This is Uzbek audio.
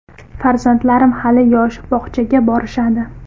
Farzandlarim hali yosh, bog‘chaga borishadi.